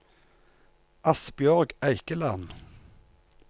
Asbjørg Eikeland